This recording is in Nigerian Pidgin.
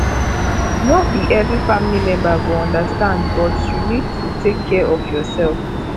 no be every family member go understand but you need to take care of your self